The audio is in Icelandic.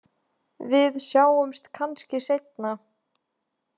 Við sjáumst kannski seinna.